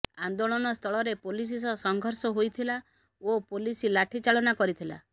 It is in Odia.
ଆନ୍ଦୋଳନ ସ୍ଥଳରେ ପୋଲିସ ସହ ସଂଘର୍ଷ ହୋଇଥିଲା ଓ ପୋଲିସ ଲାଠିଚାଳନା କରିଥିଲା